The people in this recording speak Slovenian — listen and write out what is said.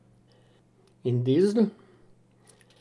In dizel?